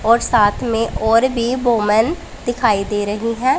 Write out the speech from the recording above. और साथ में और भी वूमेन दिखाई दे रही हैं।